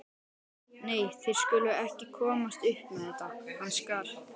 Nei, þeir skulu ekki komast upp með þetta, hann skal.